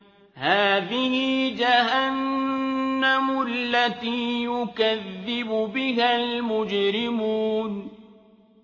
هَٰذِهِ جَهَنَّمُ الَّتِي يُكَذِّبُ بِهَا الْمُجْرِمُونَ